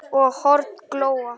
og horn glóa